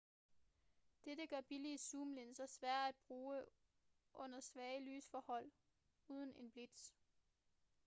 dette gør billige zoomlinser svære at bruge under svage lysforhold uden en blitz